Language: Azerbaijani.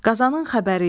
Qazanın xəbəri yox.